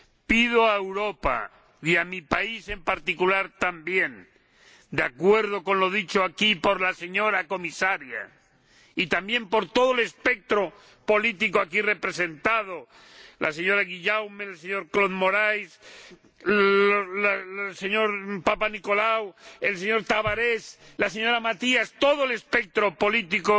¡Pido a Europa y a mi país en particular, también, de acuerdo con lo dicho aquí por la señora Comisaria, y también por todo el espectro político aquí representado ―la señora Guillaume, el señor Claude Moraes, el señor Papanikolau, el señor Tavares, la señora Matias, todo el espectro político―,